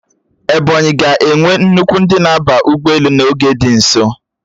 Ebonyi ga-enwe nnukwu ndị na-aba ụgbọelu n'oge dị nso